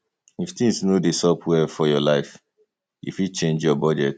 if things no dey sup well for your life you fit change your budget